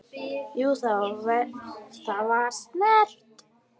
Jú, það var snert